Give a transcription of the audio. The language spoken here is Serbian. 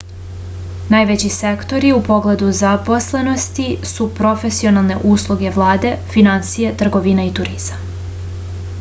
najveći sektori u pogledu zaposlenosti su profesionalne usluge vlada finansije trgovina i turizam